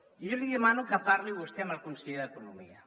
jo li demano que parli vostè amb el conseller d’economia